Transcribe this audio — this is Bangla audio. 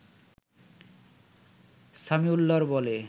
সামিউল্লাহর বলে